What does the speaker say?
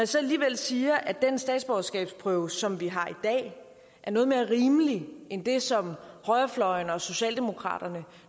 så alligevel siger at den statsborgerskabsprøve som vi har i dag er noget mere rimelig end den som højrefløjen og socialdemokraterne